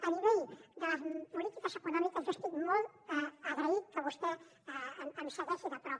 a nivell de polítiques econòmiques jo estic molt agraït que vostè em segueixi de prop